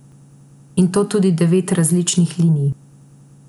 In to tudi devet različnih linij.